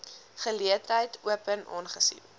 geleentheid open aangesien